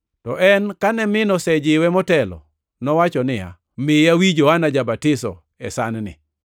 To en, kane min osejiwe motelo, nowacho niya, “Miya wi Johana ja-Batiso e san-ni.”